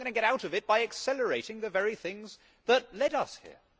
we are not going to get out of it by accelerating the very things that led us here.